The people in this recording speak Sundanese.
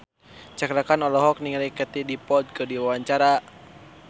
Cakra Khan olohok ningali Katie Dippold keur diwawancara